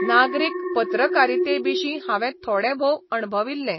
नागरीक पत्रकारिते बिशीं हावें थोडें भोव अणभविल्लें.